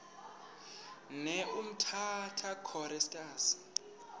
ne umtata choristers